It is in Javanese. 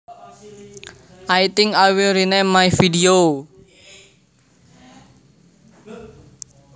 I think I will rename my video